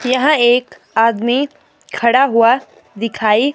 यहां एक आदमी खड़ा हुआ दिखाई--